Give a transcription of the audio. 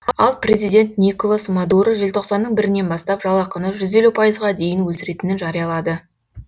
ал президент николас мадуро желтоқсанның бірінен бастап жалақыны жүз елу пайызға дейін өсіретінін жариялады